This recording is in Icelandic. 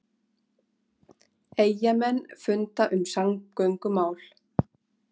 Eyjamenn funda um samgöngumál